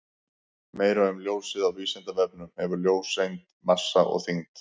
Meira um ljósið á Vísindavefnum: Hefur ljóseind massa og þyngd?